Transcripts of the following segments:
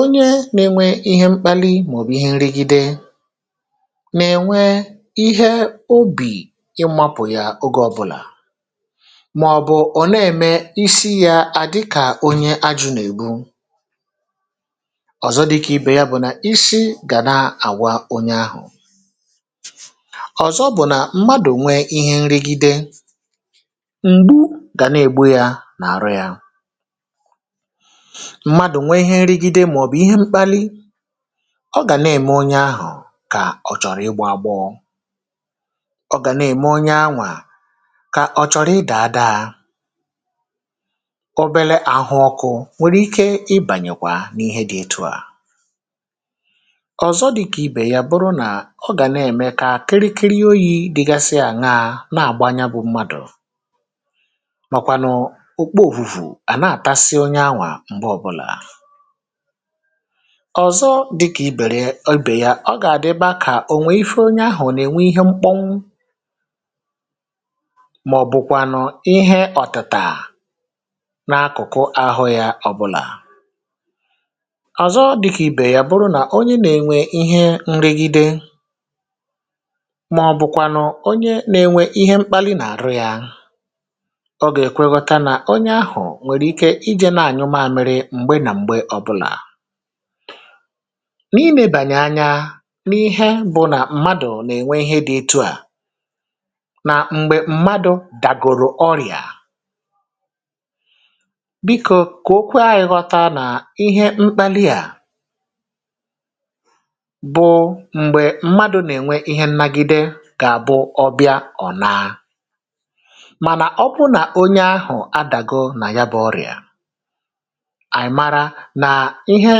onye nėnwe ihe mkpali mà ọ̀ bụ̀ ihe nrịgide nà-ènwe ihe obì ịmapụ̀ ya oge ọbụlà màọbụ̀ ọ̀ na-ème isi yȧ à dịkà onye ajụ̇ nà-èbu. Ọzọ dịkà ibè ya bụ̀ na isi ga na-awa onye ahụ. Ọzọ bụ̀ nà mmadụ̀ nwee ihe nrigide, mgbu gà nà-ègbu ya n'àrụ ya. Mmadụ̀ nwee ihe nrigide màọbụ̀ ihe mkpali, ọ gà nà-ème onye ahụ̀ kà ọ̀ chọ̀rọ̀ ịgbọ agbọọ, ọ gà nà-ème onye anwa kà ọ̀ chọ̀rọ̀ ịdà adaa, obele ahụ ọkụ̇ nwèrè ike ibànyèkwà n’ihe dị etu à. Ọzọ dịka ibe ya bụrụ na ọ ga na-eme ka kịrịkịrị oyi̇ dịgasị àṅaȧ na-àgba ya bụ̇ mmadụ̀ mọkwànụ̀ ukpo òvùvù à na-àtasị onye anwà m̀gbe ọbụlà. Ọzọ dịkà ibèrè ibè ya, ọ gà-àdịbȧ kà ò nwè ife onye ahụ̀ ọ nà-ènwe ihe mkpọnwụ màọ̀bụ̀kwànụ̀ ihe ọ̀tịtà n’akụ̀kụ ahụ yȧ ọ̀bụlà. Ọzọ dịka ibe ya bụna onye na-enwe ihe nrigide maọ̀bụ̀kwanụ̀ onye nȧ-ėnwė ihe mkpali nà-àrụ yȧ, ọ gà-èkwe nghọtȧ nà onye ahụ̀ nwèrè ike ijė na-ànyụ mamịrị m̀gbe nà m̀gbe ọbụlà. N’ilėbànyè anya n’ihe bụ̀ nà mmadụ̀ nà-ènwe ihe dị etu à nà m̀gbè mmadụ̀ dàgòrò ọrị̀à biko, kà o kwe anyị nghọta nà ihe mkpali à bụ m̀gbè mmadụ̇ nà-ènwe ihe nnagide gà-àbụ ọbịa ọ̀ naà. Mànà ọ bụrụ nà onye ahụ̀ adàgo nà ya bụ̇ ọrịà, à mara nà ihe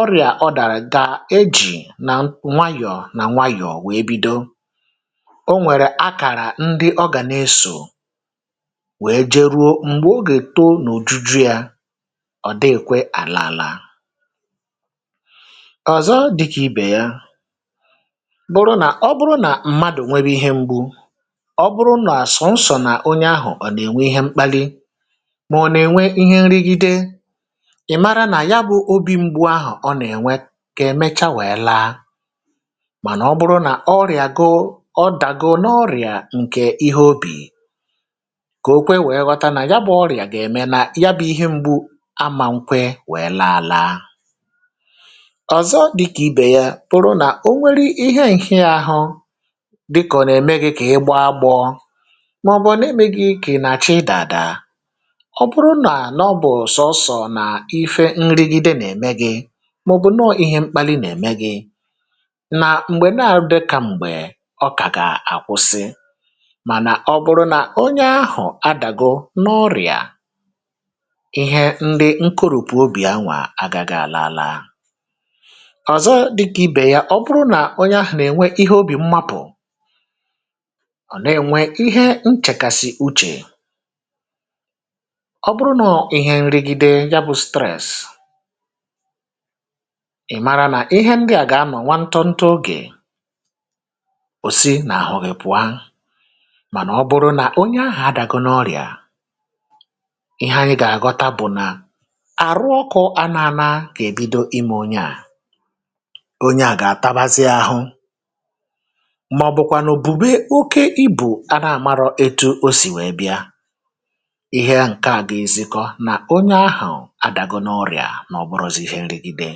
ọrịà ọdàrà gà ejì nà nwayọ̀ọ nà nwayọ̀ọ wèe bido. O nwèrè akàrà ndị ọ gà na-esò wèe jeruo m̀gbè o gè too n’òjuju yȧ, ọ̀ dịkwe àla àla. Ọzọ dịkà ibè ya bụrụ nà ọ bụrụ nà mmadù nwebe ihe mgbu, ọ bụrụ nà sọ̀nsọ̀ nà onye ahụ̀ nà-ènwe ihe mkpalị mà ọ nà-ènwe ihe nrịgide, ị̀ mara nà ya bụ̇ obi̇ mgbu ahụ̀ ọ nà-ènwe gà emechaa wèe laa. Mànà ọ bụrụ nà ọrịàgo ọ dàgo n’ọrịà ǹkè ihe obì kà okwe wèe ghọta nà ya bụ̇ ọrịà gà-ème nà ya bụ̇ ihe mgbu amànkwe wèe laa ala. Ọzọ dịkà ibè ya bụ̀rụ nà, o nwere ihe nrị ahụ dịkà ọ nà ème gị kà ị gbọọ agbọ̇ màọ̀bụ̀ nà-eme gị kì nà chị ịdà adà, ọ bụrụ nà nà ọ bụ̀ sọnsọ̀ nà ife nrigịde nà-eme gị màọ̀bụ̀ nọọ̇ ihe mkpali nà-ème gị, nà m̀gbè nà àdịkà m̀gbè, ọ kàga àkwụsị. Mànà ọ bụ̀rụ̀ nà onye ahụ̀ adàgo n’ọrị̀à, ihe ndị nkurùpù obì anwà agagị àla àla. Ọzọ dịka ya bụrụna, ọ bụrụ onye ahụ nà-ènwe ihe obi mmapụ, ọ na-enwe ihe nchèkàsị uchè, ọ bụrụ nọ̇ ihe nrịgide ya bụ̇ stress, ị̀ mara nà ihe ndị à gà-anọ̀ nwa ntọ ntọ ogè, ò si n’àhụ gị pụa. Mànà ọ bụrụ nà onye ahụ̀ adàgo n’ọrị̀à, ihe anyị gà-àghọta bụ̀ nà àrụ ọkụ̇ anȧana gà-èbido imė onye à. Onye a ga-atabazi ahụ màọ̀bụ̀kwànụ̀ bùbé okė ibù a nà-àmarọ etu̇ o sì wèe bịa. Ihe ǹke à gezikọ nà onye ahụ̀ adagọnọrịà nà ọ bụrọ̇zi̇ ihe nrigide.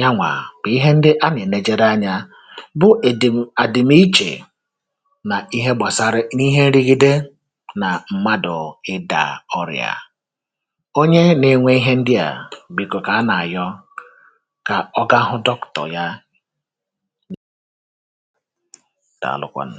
Yanwà bụ ihe ndị a nenejeere anyȧ bụ ị̀dị̀m àdị̀m ichè nà ihe gbàsara n’ihe nrigide nà mmadụ̀ ịdà ọrịà. Onye nȧ-ėnwė ihe ndị à bìko kà a nà-àyọ kà ọ gahụ dọkụ̀tọ̀ ya, dààlụkwanụ.